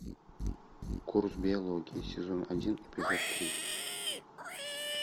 курс биологии сезон один эпизод три